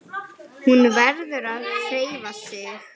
Hún verður að hreyfa sig.